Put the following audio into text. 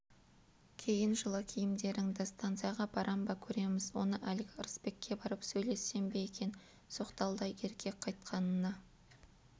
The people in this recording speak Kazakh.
киін жылы киімдеріңді станцияға барам ба көреміз оны әлгі ырысбекке барып сөйлессем бе екен соқталдай еркек қайтқанына